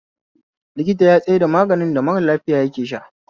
Likita ya tsaida maganin da mara lafiya yake sha